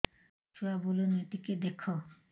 ଛୁଆ ବୁଲୁନି ଟିକେ ଦେଖ